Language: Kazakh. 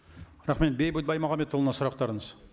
рахмет бейбіт баймағамбетұлына сұрақтарыңыз